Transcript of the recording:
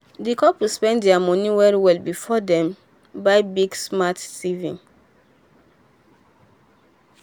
di couple plan their money well well before dem buy big smart tv.